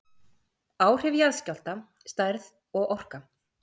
Áhrif jarðskjálfta, stærð og orka